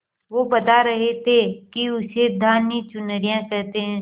वो बता रहे थे कि उसे धानी चुनरिया कहते हैं